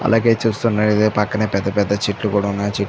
అలాగే చూస్తున్నట్లయితే పక్కనే పెద్ద పెద్ద చెట్లు కూడా ఉన్నాయి చెట్టు--